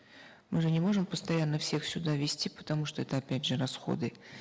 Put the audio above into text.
мы же не можем постоянно всех сюда вести потому что это опять же расходы